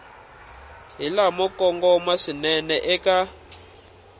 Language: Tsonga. hi lamo kongoma swinene eka